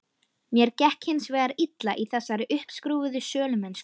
Mér gekk hins vegar illa í þessari uppskrúfuðu sölumennsku.